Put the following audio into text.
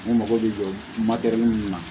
Ne mago bɛ jɔ min na